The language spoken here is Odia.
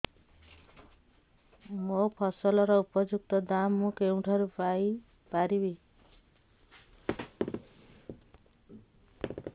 ମୋ ଫସଲର ଉପଯୁକ୍ତ ଦାମ୍ ମୁଁ କେଉଁଠାରୁ ପାଇ ପାରିବି